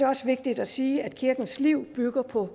også vigtigt at sige at kirkens liv bygger på